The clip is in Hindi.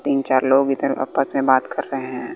तीन चार लोग इधर आपस में बात कर रहे हैं।